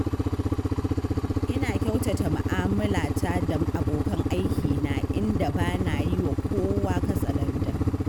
Ina kyautata mu'amalata da abokan aikina, inda ba na yi wa kowa katsalandan.